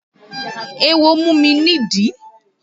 Éwo mú mi nídìí